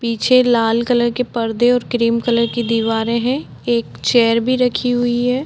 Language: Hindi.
पीछे लाल कलर के परदे और क्रीम कलर की दीवारे है एक चेयर भी रखी हुई है।